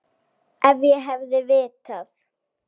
Ef ég hefði vitað.